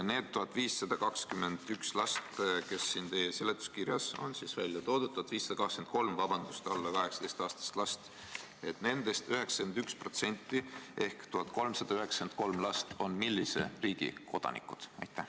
Neist 1521 lapsest, kes teie seletuskirjas on välja toodud – vabandust, 1523-st alla 18-aastasest lapsest –, 91% ehk 1393 last on millise riigi kodanikud?